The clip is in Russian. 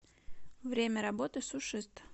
время работы сушист